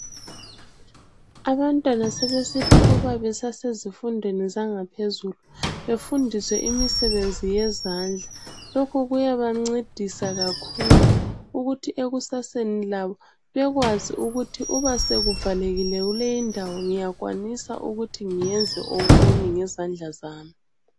Abantwana sebesithi uba besasezifundweni zangaphezulu, befundiswe imisebenzi yezandla. Lokhu kuyabancedisa kakhulu ukuthi ekusaseni labo bekwazi ukuthi uba sekuvalekile kuleyi ndawo ngiyakwanisa ukuthi ngiyenze okunye ngezandla zami.